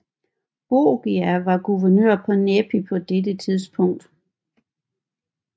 Borgia var guvernør af Nepi på dette tidspunkt